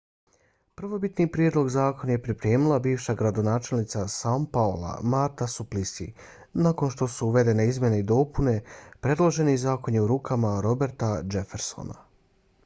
prvobitni prijedlog zakon je pripremila bivša gradonačelnica são paula marta suplicy. nakon što su uvedene izmjene i dopune predloženi zakon je u rukama roberta jeffersona